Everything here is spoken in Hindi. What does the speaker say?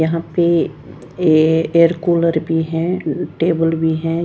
यहाँ पे ये एयर कूलर भी है टेबल भी है।